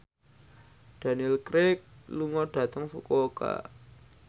Daniel Craig lunga dhateng Fukuoka